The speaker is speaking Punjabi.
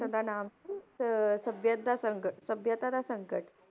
ਭਾਸ਼ਣ ਦਾ ਨਾਮ ਸੀ ਅਹ ਸਭੀਅਤ ਦਾ ਸੰਗਠ ਸਭਿਅਤਾ ਦਾ ਸੰਗਠ